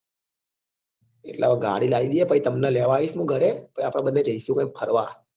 એટલે હવે ગાડી લઈ દઈએ પહી તમને લેવા આયીશ હું ઘરે પહી આપડે બધે જઈશું ક્યોક ફરવા